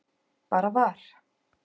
Bara var.